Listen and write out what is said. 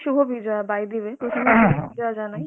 সুভ Bijoya by the way যা জানায়